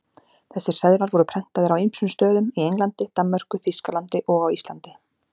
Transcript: Þessir seðlar voru prentaðir á ýmsum stöðum, í Englandi, Danmörku, Þýskalandi og á Íslandi.